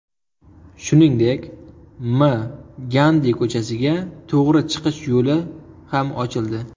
Shuningdek, M. Gandi ko‘chasiga to‘g‘ri chiqish yo‘li ham ochildi.